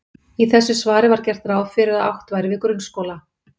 Í þessu svari var gert ráð fyrir að átt væri við grunnskóla.